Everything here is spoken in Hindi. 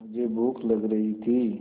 मुझे भूख लग रही थी